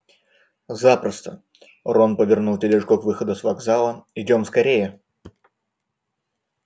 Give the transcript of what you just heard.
запросто рон повернул тележку к выходу с вокзала идём скорее